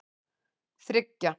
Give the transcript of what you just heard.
þriggja